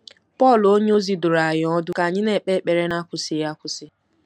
Pọl onyeozi dụrụ anyị ọdụ ka anyị ‘na-ekpe ekpere n’akwụsịghị akwụsị.